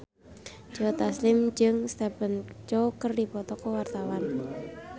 Joe Taslim jeung Stephen Chow keur dipoto ku wartawan